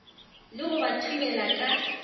le go ba thubela ka